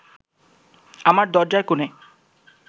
আমার দরজার কোণে